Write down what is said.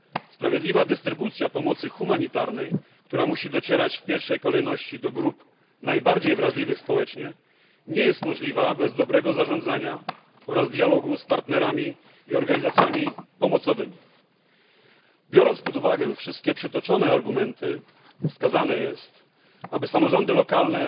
Sprawiedliwa dystrybucja pomocy humanitarnej, która musi docierać w pierwszej kolejności do grup najbardziej zagrożonych, nie jest możliwa bez dobrego zarządzania oraz dialogu z partnerami i organizacjami pomocowymi. Biorąc pod uwagę wszystkie przytoczone argumenty, wskazane jest, aby samorządy lokalne